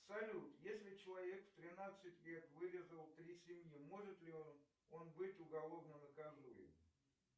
салют если человек в тринадцать лет вырезал три семьи может ли он быть уголовно наказуем